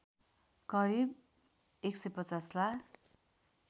करिब १५० लाख